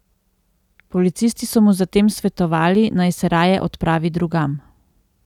Policisti so mu zatem svetovali, naj se raje odpravi drugam.